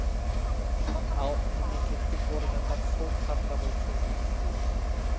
ал мемлекеттік органдар сол карта бойынша жұмыс істейді